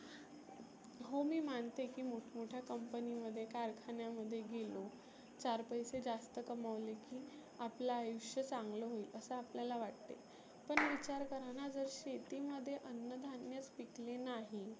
हो मी मानते की मोठ मोठ्या company मध्ये कारखान्यामध्ये गेलो चार पैसे जास्त कमवले की आपलं आयुष्य चांगलं होईल असं आपल्याला वाटते. पण विचार कराना जर शेती मध्ये अन्न धान्यच पिकले नाही